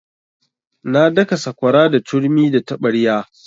Na daka sakwara da turmi da taɓarya.